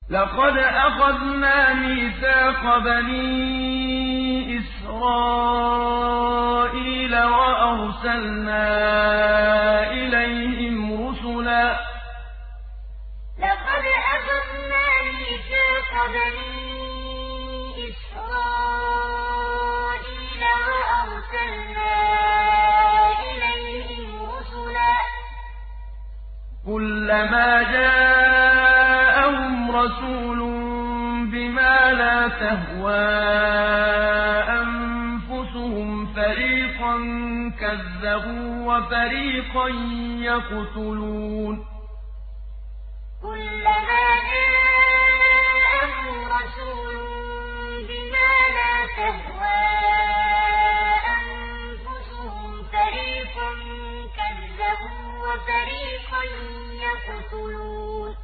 لَقَدْ أَخَذْنَا مِيثَاقَ بَنِي إِسْرَائِيلَ وَأَرْسَلْنَا إِلَيْهِمْ رُسُلًا ۖ كُلَّمَا جَاءَهُمْ رَسُولٌ بِمَا لَا تَهْوَىٰ أَنفُسُهُمْ فَرِيقًا كَذَّبُوا وَفَرِيقًا يَقْتُلُونَ لَقَدْ أَخَذْنَا مِيثَاقَ بَنِي إِسْرَائِيلَ وَأَرْسَلْنَا إِلَيْهِمْ رُسُلًا ۖ كُلَّمَا جَاءَهُمْ رَسُولٌ بِمَا لَا تَهْوَىٰ أَنفُسُهُمْ فَرِيقًا كَذَّبُوا وَفَرِيقًا يَقْتُلُونَ